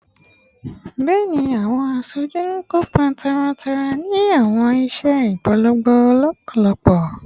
Bẹẹni, awọn aṣoju kopa taratara ni awọn iṣẹ ipolongo lọpọlọpọ